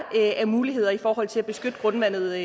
af muligheder i forhold til at beskytte grundvandet